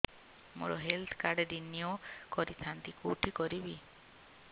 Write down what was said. ମୋର health card renew କରିଥାନ୍ତି କୋଉଠି କରିବି